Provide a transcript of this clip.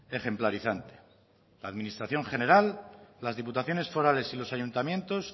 ejemplarizante la administración general las diputaciones forales y los ayuntamientos